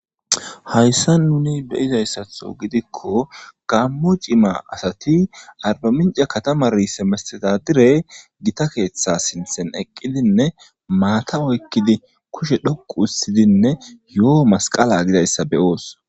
Hayssa nuni be izayssatho gidikko gammo cima asati arbominca katama riise mesteta dire gita keeththa sinthen eqqidinne maata oykkidi kushe dhoqu ustidinne yo7o masqala gidayssa beyoos